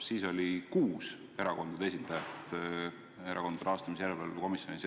Siis oli kuus erakondade esindajat Erakondade Rahastamise Järelevalve Komisjonis.